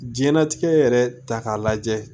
Jiyɛn latigɛ yɛrɛ ta k'a lajɛ